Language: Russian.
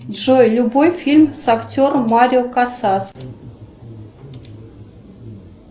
джой любой фильм с актером марио касас